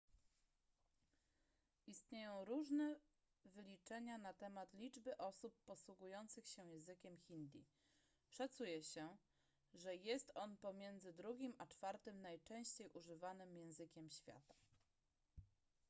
istnieją różne wyliczenia na temat liczby osób posługujących się językiem hindi szacuje się że jest on pomiędzy drugim a czwartym najczęściej używanym językiem świata